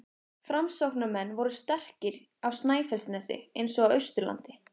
Framsóknarmenn voru sterkir á Snæfellsnesi eins og á Austurlandi.